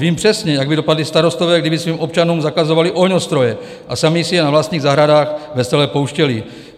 Vím přesně, jak by dopadli starostové, kdyby svým občanům zakazovali ohňostroje a sami si je na vlastních zahradách vesele pouštěli.